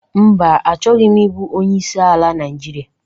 Mba, achoghi m ị bu onyeisi ala Naijiria.